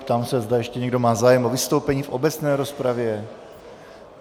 Ptám se, zda ještě někdo má zájem o vystoupení v obecné rozpravě.